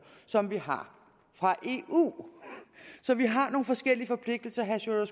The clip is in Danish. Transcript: som vi har fra eu så vi har nogle forskellige forpligtelser herre sjúrður